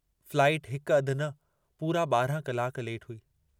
Flight हिक अधु न पूरा 12 कलाक लेट हुई।